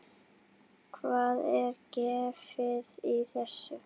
Hvað er gefið í þessu?